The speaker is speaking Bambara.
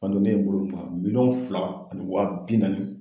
Ka don ne ye n bolo ban miliyɔn fila ani waa bi naani